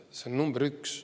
See on number üks.